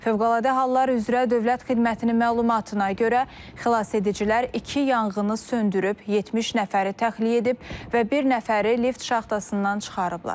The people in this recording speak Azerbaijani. Fövqəladə hallar üzrə dövlət xidmətinin məlumatına görə xilasedicilər iki yanğını söndürüb, 70 nəfəri təxliyə edib və bir nəfəri lift şaxtasından çıxarıblar.